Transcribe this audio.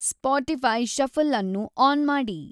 Spotify shuffle ಅನ್ನು on ಮಾಡಿ